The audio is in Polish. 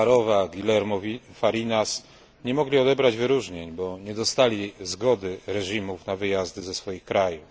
Sacharowa Guillermo Fariñas nie mogli odebrać wyróżnień, bo nie dostali zgody reżimów na wyjazdy ze swoich krajów.